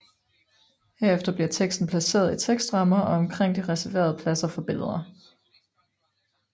Herefter bliver teksten placeret i tekstrammer og omkring de reserverede pladser for billeder